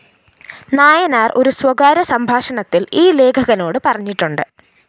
നായനാര്‍ ഒരു സ്വകാര്യ സംഭാഷണത്തില്‍ ഈ ലേഖകനോട് പറഞ്ഞിട്ടുണ്ട്